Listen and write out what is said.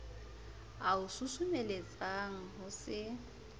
a o susumeletsang ho se